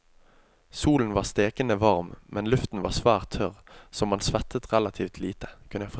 Solen var stekende varm, men luften var svært tørr, så man svettet relativt lite.